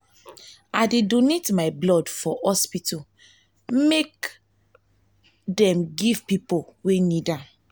i dey donate my blood for hospital make for hospital make dem give pipo wey need am.